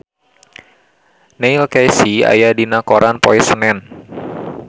Neil Casey aya dina koran poe Senen